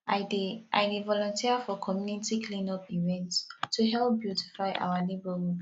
i dey i dey volunteer for community cleanup events to help beautify our neighborhood